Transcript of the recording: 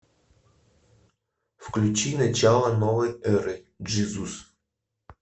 включи начало новой эры джизус